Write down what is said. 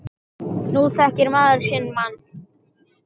Nú þekkir maður sinn mann.